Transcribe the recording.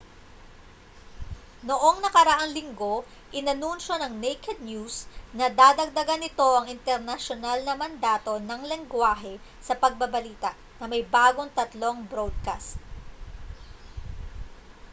noong nakaraang linggo inanunsiyo ng naked news na dadagdagan nito ang internasyonal na mandato ng lenggwahe sa pagbabalita na may bagong tatlong broadcast